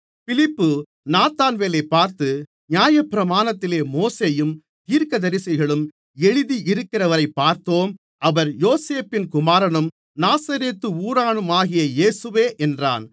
பிலிப்பு நாத்தான்வேலைப் பார்த்து நியாயப்பிரமாணத்திலே மோசேயும் தீர்க்கதரிசிகளும் எழுதி இருக்கிறவரைப் பார்த்தோம் அவர் யோசேப்பின் குமாரனும் நாசரேத்து ஊரானுமாகிய இயேசுவே என்றான்